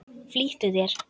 Flýttu þér.